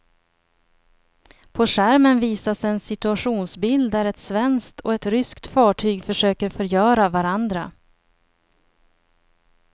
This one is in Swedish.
På skärmen visas en situationsbild där ett svenskt och ett ryskt fartyg försöker förgöra varandra.